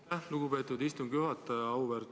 Aitäh, lugupeetud istungi juhataja!